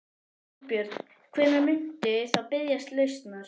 Þorbjörn: Hvenær muntu þá biðjast lausnar?